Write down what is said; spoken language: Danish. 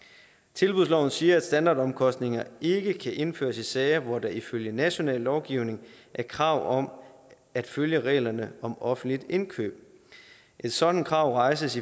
tilbudsloven siger at standardomkostninger ikke kan indføres i sager hvor der ifølge national lovgivning er krav om at følge reglerne om offentligt indkøb et sådant krav rejses